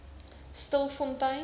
stilfontein